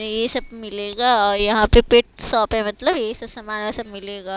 ये सब मिलेगा और यहां पे पेट शॉप है मतलब ये सब समान यहा से मिलेगा।